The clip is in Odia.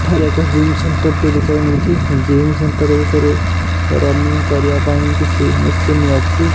ଏଠାରେ ଏକ ଜିମ୍ ସେଣ୍ଟର ଟେ ଦେଖିବାକୁ ମିଳୁଚି ଜିମ୍ ସେଣ୍ଟର ଭିତରେ ରନିଙ୍ଗ୍ କରିବା ପାଁଇ କିଛି ମେସିନ୍ ଅଛି।